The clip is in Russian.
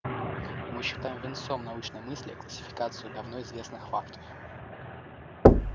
мы считаем венцом научной мысли классификацию давно известных фактов